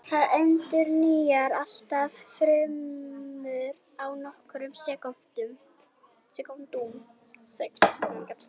Það endurnýjar allar frumur á nokkrum sekúndum.